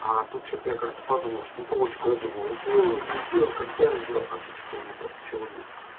а тут что то я как-то подумал что ну полочку я думал сделаю не сделаю когда сделаю а тут что-то у меня как то сегодня